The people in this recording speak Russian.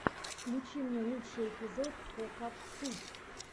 включи мне лучший эпизод кокатуб